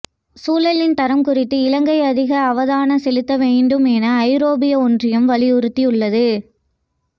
சூழலின் தரம் குறித்து இலங்கை அதிக அவதானம் செலுத்த வேண்டும் என ஐரோப்பிய ஒன்றியம் வலியுறுத்தியுள்ளது